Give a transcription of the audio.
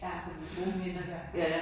Ja, så det er gode minder derfra